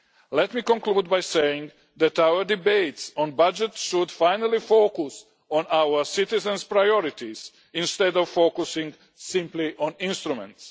Let me conclude by saying that our debates on budgets should finally focus on our citizens' priorities, instead of focusing simply on instruments.